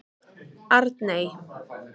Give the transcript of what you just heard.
Arney